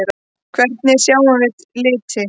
Hvernig sjáum við liti?